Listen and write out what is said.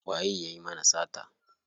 Waye yayi mana sata?